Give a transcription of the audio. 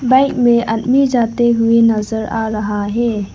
Bike में आदमी जाते हुए नजर आ रहा है।